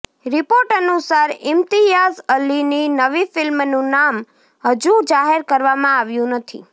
report અનુસાર ઈમ્તિયાઝ અલીની નવી ફિલ્મનું નામ હજુ જાહેર કરવામાં આવ્યું નથી